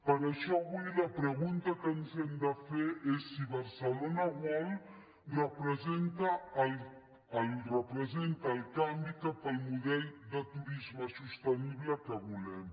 per això avui la pregunta que ens hem de fer és si barcelona world representa el canvi cap al model de turisme sostenible que volem